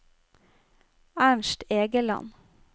Ernst Egeland